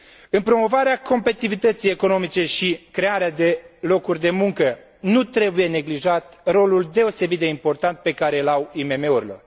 În promovarea competitivității economice și crearea de locuri de muncă, nu trebuie neglijat rolul deosebit de important pe care îl au IMM urile.